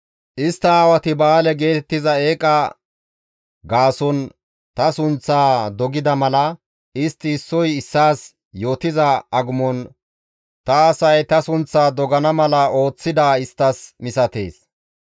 Istta aawati Ba7aale geetettiza eeqaza gaason ta sunththaa dogida mala, istti issoy issaas yootiza agumon ta asay ta sunththaa dogana mala ooththidaa isttas misatees.